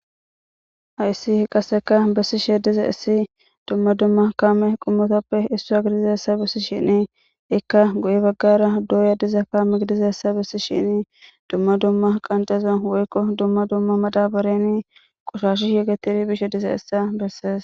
Hayssi qasikka bessishe dizayssi dumma dumma kammiya qomottappe issa giddishin ekka guye baggara doyya dizzayssa dumma dumma maddabaran qoshashi yegeteyssa bessees.